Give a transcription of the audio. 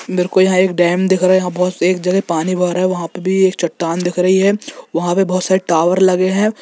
मेरे को यहां एक डैम दिख रहे हैं बहुत तेज जगह पानी भरा है वहां पे भी एक चट्टान दिख रही है वहां पर बहुत सारे टावर लगे हैं।